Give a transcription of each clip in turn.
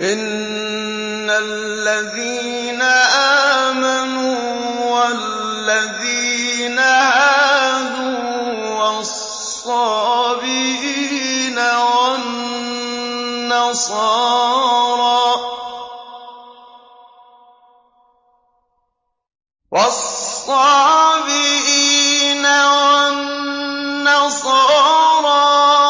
إِنَّ الَّذِينَ آمَنُوا وَالَّذِينَ هَادُوا وَالصَّابِئِينَ وَالنَّصَارَىٰ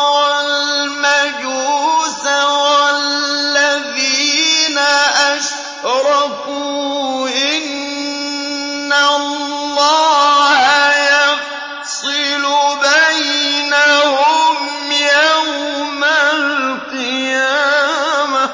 وَالْمَجُوسَ وَالَّذِينَ أَشْرَكُوا إِنَّ اللَّهَ يَفْصِلُ بَيْنَهُمْ يَوْمَ الْقِيَامَةِ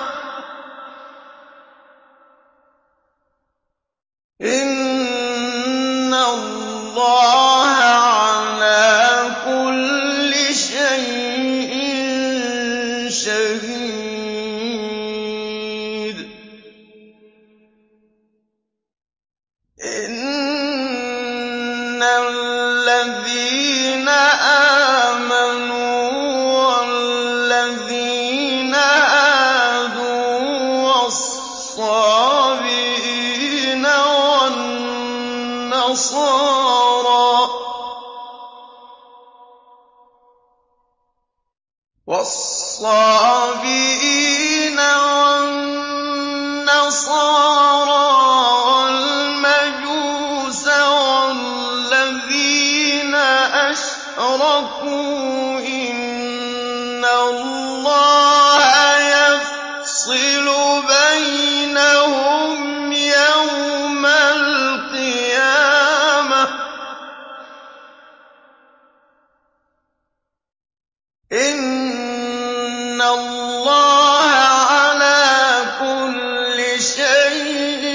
ۚ إِنَّ اللَّهَ عَلَىٰ كُلِّ شَيْءٍ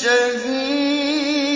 شَهِيدٌ